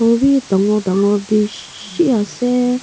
Etu bhi dangor dangor beshi ase.